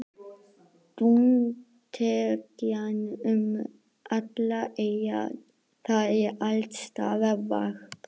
Dúntekjan er um allar eyjar, það er alls staðar varp.